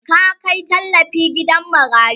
ka Kai tallafi gidan marayu?